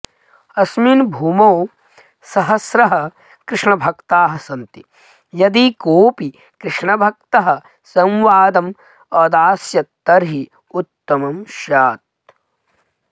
अस्मिन् भूमौ सहस्रः कृष्णभक्ताः सन्ति यदि कोऽपि कृष्णभक्तः संवादं अदास्यत् तर्हि उत्तमं स्यात्